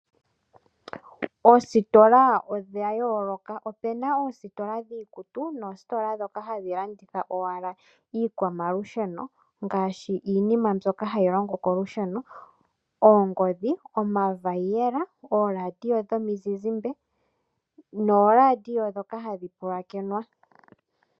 Oositola odha yooloka . Opena oositola dhiikutu noositola dhoka hadhi landitha owala iikwamalusheno ngaashi iinima mbyoka hayi longo kolusheno oongodhi , omavaiyela , ooraadio dhomizizimbe nooraadio dhoka hadhi pulakenwa.